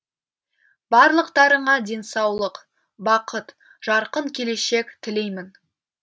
барлықтарыңа денсаулық бақыт жарқын келешек тілеймін